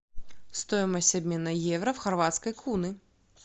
стоимость обмена евро в хорватской куны